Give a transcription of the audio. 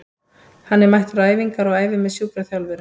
Hann er mættur á æfingar og æfir með sjúkraþjálfurunum.